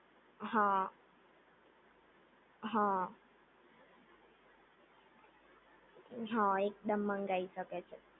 હા હા હા એકદમ મંગાવી શકે છે